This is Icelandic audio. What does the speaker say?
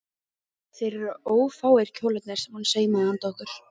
Þeir eru ófáir kjólarnir sem hún saumaði handa okkur